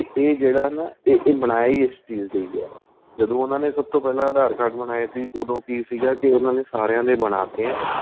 ਏ ਜਿਹੜਾ ਆਂ ਨਾ ਏ ਬਣਾਇਆ ਹੀ ਇਸ ਚੀਜ ਲਈ ਆਂ ਜਦੋਂ ਉਹਨਾ ਨੇ ਸਭ ਤੋ ਪਹਿਲਾਂ aadhar card ਬਨਾਏ ਸੀ ਉਹਦੋ ਕੀ ਸੀਗਾ ਕੇ ਉਹਨਾ ਨੇ ਸਾਰਿਆਂ ਦੇ ਬਣਾ ਤੇ ਏ